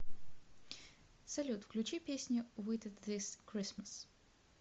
салют включи песню вит ит зис кристмас